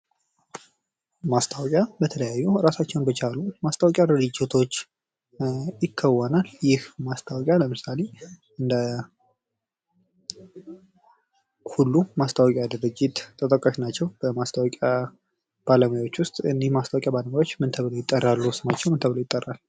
ማስታወቂያ በተለያዩ እራሳቸውን በቻሉ ማስታወቂያ ድርጅቶች ይከወናል። ይህ ማስታወቂያ ለምሳሌ እንደ ሁሉ ማስታወቂያ ድርጅት ተጠቃሽ ናቸው። እነዚህ ማስታወቂያ ባለሙያዎች ስማቸው ምን ተብሎ ይጠራል?